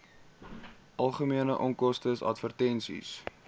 algemene onkoste advertensies